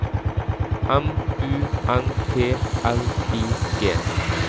M U N T L I G